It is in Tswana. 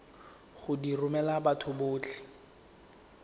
go di romela batho botlhe